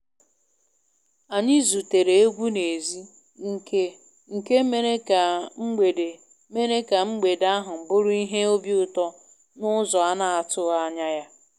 Anyị zutere egwu n`ezi nke nke mere ka mgbede mere ka mgbede ahụ bụrụ ihe obiụtọ n`ụzọ ana- atụghị anya ya.